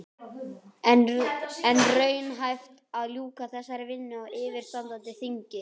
En er raunhæft að ljúka þessari vinnu á yfirstandandi þingi?